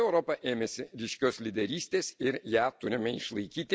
Taigi Europa ėmėsi ryškios lyderystės ir ją turime išlaikyti.